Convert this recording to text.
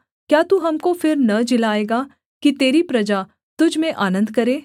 क्या तू हमको फिर न जिलाएगा कि तेरी प्रजा तुझ में आनन्द करे